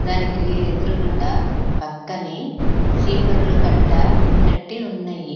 దానికి ఎదురుగుండ పక్కనే చీపురుల కట్ట కట్టి ఉన్నయి.